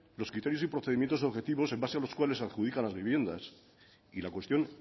los criterios y procedimientos objetivos en base a los cuales se adjudican las viviendas y la cuestión